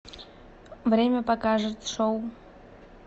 время покажет шоу